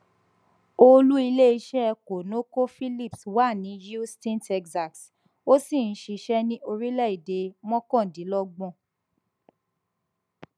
olú iléiṣẹ conocophillips wà ní houston texas ó sì ń ṣiṣẹ ní orílẹèdè mọkàndínlọgbọn